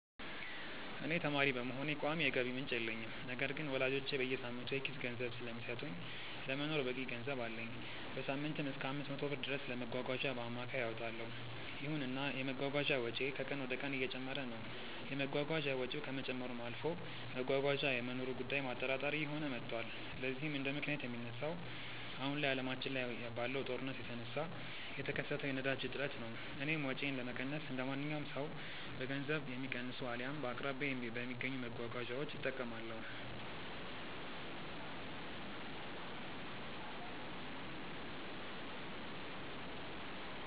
እኔ ተማሪ በመሆኔ ቋሚ የገቢ ምንጭ የለኝም። ነገር ግን ወላጆቼ በየሳምንቱ የኪስ ገንዘብ ስለሚሰጡኝ ለመኖር በቂ ገንዘብ አለኝ። በሳምንትም እሰከ 500 ብር ድረስ ለመጓጓዣ በአማካይ አወጣለው። ይሁንና የመጓጓዣ ወጪዬ ከቀን ወደቀን እየጨመረ ይገኛል። የመጓጓዣ ወጪው ከመጨመርም አልፎ መጓጓዣ የመኖሩ ጉዳይም አጠራጣሪ እየሆነ መቷል። ለዚህም እንደምክንያት የሚነሳው አሁን ላይ አለማችን ላይ ባለው ጦርነት የተነሳ የተከሰተው የነዳጅ እጥረት ነው። እኔም ወጪዬን ለመቀነስ እንደማንኛውም ሰው በገንዘብ የሚቀንሱ አልያም በአቅራቢያዬ በሚገኙ መጓጓዣዎች እጠቀማለሁ።